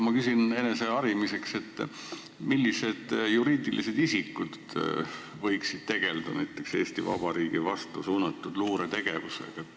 Ma küsin eneseharimiseks, millised juriidilised isikud võiksid näiteks tegelda Eesti Vabariigi vastu suunatud luuretegevusega.